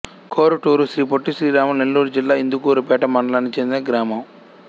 కొరుటూరు శ్రీ పొట్టి శ్రీరాములు నెల్లూరు జిల్లా ఇందుకూరుపేట మండలానికి చెందిన గ్రామం